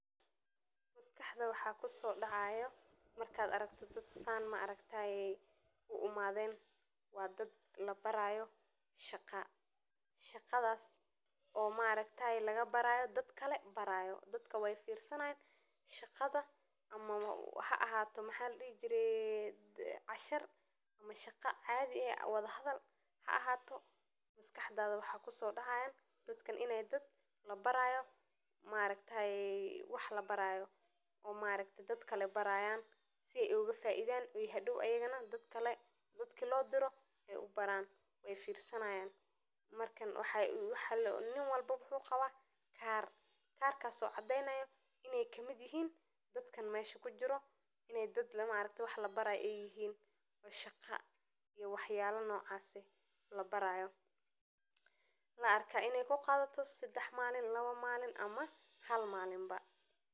Maskaxda waxa kusodacayo marka aragto dad sidan iskuguimade iniii shaqo labarayo oo shaqada qof kale barayo ha aahato cashar shaqo cadii ah haahato wa dad wax labarayo sii ey ogafaidan oo ayagana dad kale ubaran oo niin walbo kaar ayu wata oo in dad wax labayo yihiin oo shaqo labarayo laarko in ey kuqadato lawo mali mise hal malin.